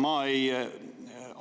Ma ei